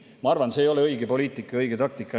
Ma arvan, et see ei ole õige poliitika ega õige taktika.